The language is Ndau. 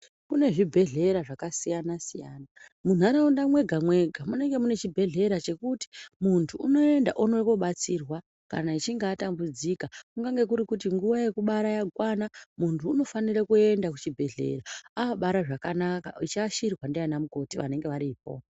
Kune zvibhedhlera zvakasiyana -siyana munharaunda mwega mwega munenge mune chibhedhlera chekuti muntu unoenda oends kobatsirwa kana achinge atambudzika kungange kuri kuti nguwa yekubara yakwana munhu unofarira kuenda kuchibhedhlera obara zvakanaka eiashirwa ndaana mukoti vanenge varipo.